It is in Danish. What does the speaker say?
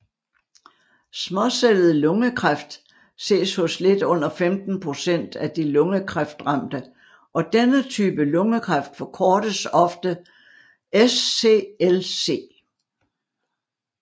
Småcellet lungekræft ses hos lidt under 15 procent af de lungekræftramte og denne type lungekræft forkortes ofte SCLC